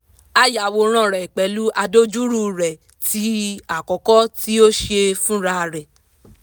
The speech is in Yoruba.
a yàwòrán rẹ̀ pẹ̀lú àdojúrú rẹ̀ tí àkọ́kọ́ tí ó ṣe fúnra rẹ̀